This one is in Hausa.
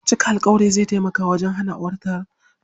Cika alƙawari zai tamaka wajen hana aukuwar rikici.